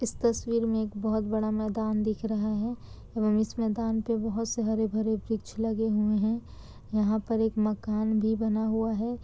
इस तस्वीर में एक बोहोत बहुत बड़ा मैदान दिख रहा है एवं इस मैदान पे बोहोत ही हरे-भरे वृक्ष लगे हुवे हैं यहाँ पर एक मकान भी बना हुवा है।